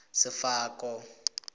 sefako